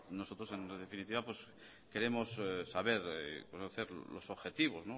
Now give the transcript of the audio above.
nosotros en definitiva queremos saber conocer los objetivos